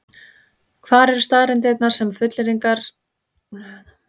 Hvar eru staðreyndirnar sem þessar fullyrðingar vísa til?